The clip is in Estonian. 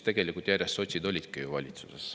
Tegelikult siis sotsid olidki ju järjest valitsuses.